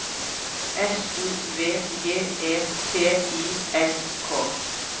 S O V J E T I S K